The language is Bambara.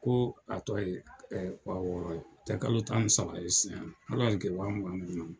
Ko a tɔ ye wa wɔɔrɔ ye o tɛ kalo tan ni saba ye sisan hali kɛ wa mugan mugan